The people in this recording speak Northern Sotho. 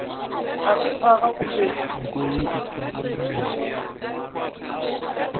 ga se phaga o be